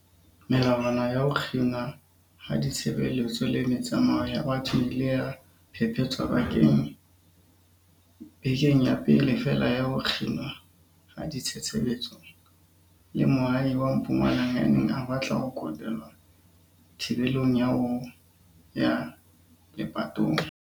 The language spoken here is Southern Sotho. Melawana ya ho kginwa ha ditshebeletso le metsamao ya batho e ile ya phephetswa bekeng ya pele feela ya ho kginwa ha ditshebeletso ke moahi wa Mpumalanga ya neng a batla ho kotelwa thibelong ya ho ya lepatong.